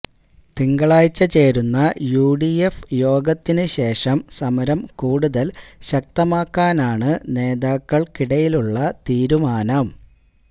തിങ്കളാഴ്ച ചേരുന്ന യുഡിഎഫ് യോഗത്തിന് ശേഷം സമരം കൂടുതല് ശക്തമാക്കാനാണ് നേതാക്കള്ക്കിടയിലുള്ള തീരുമാനം